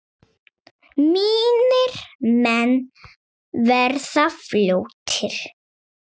Mínir menn verða fljót